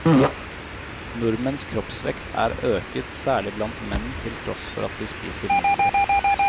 Nordmenns kroppsvekt er øket, særlig blant menn, til tross for at vi spiser mindre.